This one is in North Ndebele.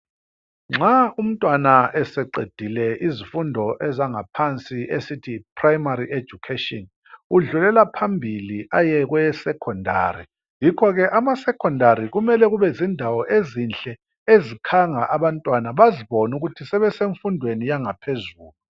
Nxa umntwana eseqedile izifundo ezangaphansi esithi yi primary education, udlulela phambili aye kweye secondary. Yikho ke ama secondary kumele kube yindawo ezinhle, ezikhanga abantwana bazibone ukuthi sebemfundweni yangaphezulu.